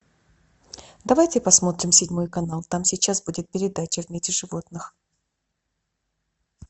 давайте посмотрим седьмой канал там сейчас будет передача в мире животных